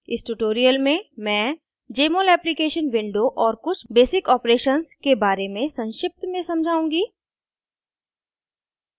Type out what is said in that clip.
इस ट्यूटोरियल में मैं jmol एप्लीकेशन विंडो और कुछ बेसिक ऑपरेशंस के बारे में संक्षिप्त में समझाउंगी